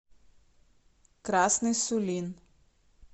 красный сулин